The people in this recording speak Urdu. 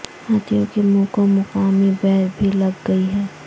ہاتھیوں کے منہ کو مقامی بیئر بھی لگ گئی ہے